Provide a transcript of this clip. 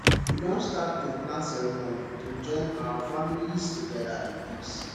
we don start to plan ceremony to join our families together in peace